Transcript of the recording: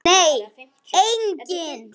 Nei, enginn